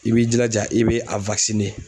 I b'i jilaja i be a